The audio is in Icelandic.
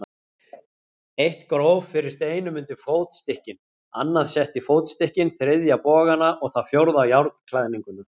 Eitt gróf fyrir steinum undir fótstykkin, annað setti fótstykkin, þriðja bogana og það fjórða járnklæðninguna.